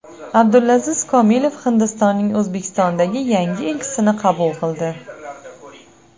Abdulaziz Komilov Hindistonning O‘zbekistondagi yangi elchisini qabul qildi.